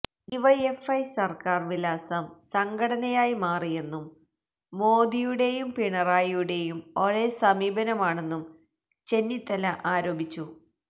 DYFI സര്ക്കാര് വിലാസം സംഘടനയായി മാറിയെന്നും മോദിയുടേയും പിണറായിയുടെയും ഒരേ സമീപനമാണെന്നും ചെന്നിത്തല ആരോപിച്ചു